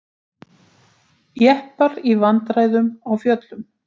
Jeppar í vandræðum á fjöllum